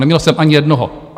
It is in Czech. Neměl jsem ani jednoho.